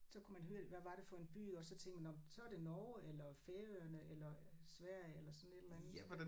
Så kunne man høre hvad var det for en by og så tænkte man nåh men så er det Norge eller Færøerne eller Sverige eller sådan et eller andet